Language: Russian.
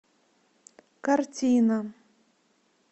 картина